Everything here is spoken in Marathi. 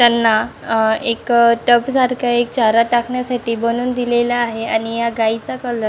त्यांना अ एक टपसारख एक चारा टाकण्यासाठी बनवून दिलेल आहे आणि या गाईचा कलर --